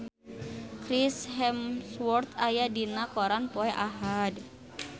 Chris Hemsworth aya dina koran poe Ahad